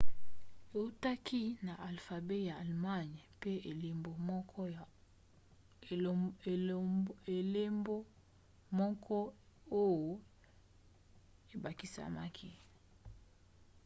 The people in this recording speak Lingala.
eutaki na alfabe ya allemagne pe elembo moko õ/õ ebakisamaki